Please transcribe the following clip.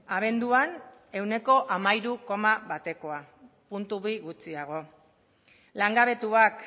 abenduan ehuneko hamairu koma batekoa puntu bi gutxiago langabetuak